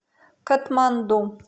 катманду